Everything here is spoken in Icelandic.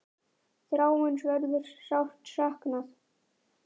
Þráins verður sárt saknað.